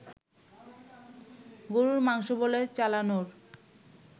গরুর মাংস বলে চালানোর